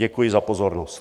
Děkuji za pozornost.